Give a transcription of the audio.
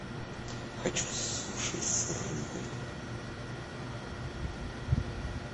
хочу суши с рыбой